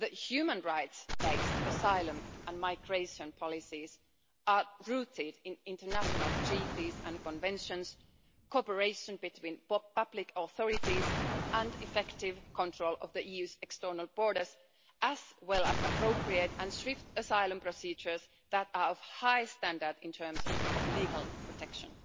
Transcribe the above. Human rights-based asylum and migration policies are rooted in international treaties and conventions, cooperation between public authorities and effective control of the EU's external borders, as well as appropriate and swift asylum procedures that are of a high standard in terms of legal protection.